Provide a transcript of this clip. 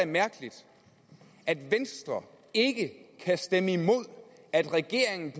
mærkeligt at venstre ikke kan stemme imod at regeringen